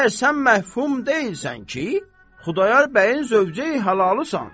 Məyər sən məhfum deyilsən ki, Xudayar bəyin zövcəyi halalıysan?